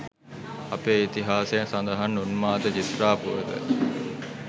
අපේ ඉතිහාසයේ සඳහන් උන්මාද චිත්‍රා පුවත